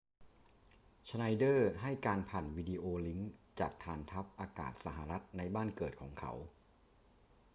ชไนเดอร์ให้การผ่านวิดีโอลิงก์จากฐานทัพอากาศสหรัฐในบ้านเกิดของเขา